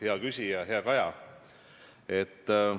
Hea küsija, hea Kaja!